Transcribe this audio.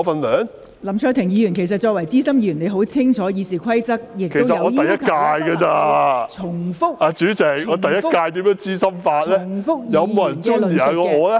林卓廷議員，作為資深議員，你很清楚《議事規則》要求議員不得重複其他委員的論點......